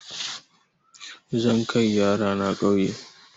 Zan kai yara na ƙauye.